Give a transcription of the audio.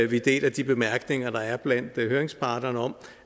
vi deler de bemærkninger der er blandt høringsparterne om